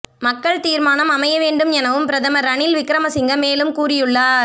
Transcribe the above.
மக்கள் தீர்மானம் அமைய வேண்டும் எனவும் பிரதமர் ரணில் விக்ரமசிங்க மேலும் கூறியுள்ளார்